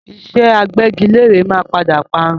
Ìṣe agbẹ́gilére máa padà parun